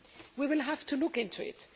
We will have to look into it.